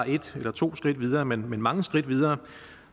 et eller to skridt videre men mange skridt videre